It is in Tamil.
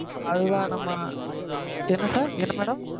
அது தான் நம்ம, என்ன sir? என்ன madam?